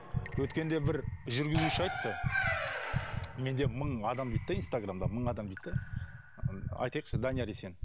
өткенде бір жүргізуші айтты менде мың адам дейді де инстаграмда мың адам дейді де ы айтайықшы данияр есен